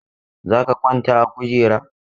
Za ka kwanta a kujera!